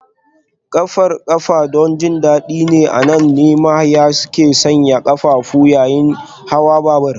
Ƙafar ƙafa don jin daɗi ne, a nan ne mahaya ke sanya ƙafafu yayin hawan babur